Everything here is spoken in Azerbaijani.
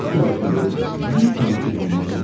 Sevgili Dunya, lütfən kəndinizə gəlin.